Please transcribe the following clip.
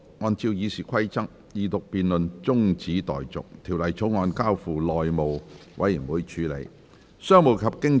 按照《議事規則》，二讀辯論中止待續，《條例草案》交付內務委員會處理。